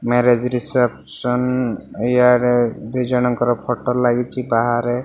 Marriage reception ଇୟାଡେ ଦୁଇଜଣଙ୍କର photo ଲାଗିଚି ବାହାରେ।